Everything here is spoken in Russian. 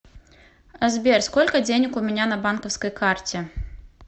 сбер сколько денег у меня на банковской карте